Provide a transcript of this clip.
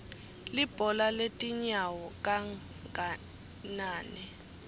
libhola letinyano kangnane